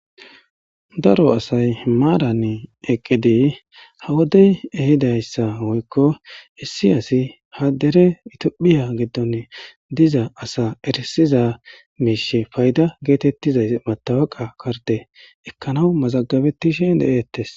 Daro asati eqqidi ha wodde ehidaysi woyikko maran ha dere tophphiya giddon dizza asa erissizza mishsha fayida gettetizzaga meththaweqiya karidde ekkanawu mazagabetishshen erettes.